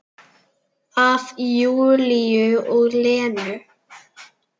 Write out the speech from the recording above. Af Júlíu og Lenu.